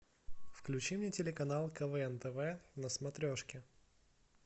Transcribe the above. включи мне телеканал квн тв на смотрешке